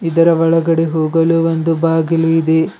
ಇದರ ಒಳಗಡೆ ಹೋಗಲು ಒಂದು ಬಾಗಿಲು ಇದೆ.